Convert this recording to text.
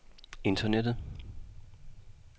internettet